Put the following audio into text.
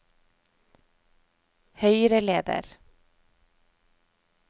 høyreleder